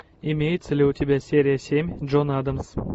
имеется ли у тебя серия семь джон адамс